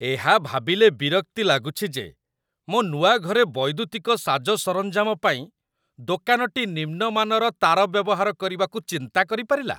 ଏହା ଭାବିଲେ ବିରକ୍ତି ଲାଗୁଛି ଯେ ମୋ ନୂଆ ଘରେ ବୈଦୁତିକ ସାଜସରଞ୍ଜାମ ପାଇଁ ଦୋକାନଟି ନିମ୍ନମାନର ତାର ବ୍ୟବହାର କରିବାକୁ ଚିନ୍ତା କରିପାରିଲା